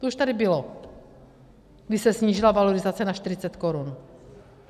To už tady bylo, když se snížila valorizace na 40 korun.